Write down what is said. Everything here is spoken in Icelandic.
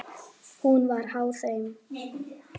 Hún var háð þeim.